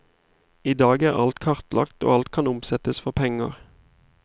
I dag er alt kartlagt og alt kan omsettes for penger.